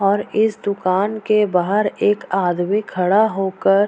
और इस दुकान के बाहर एक आदमी खड़ा होकर --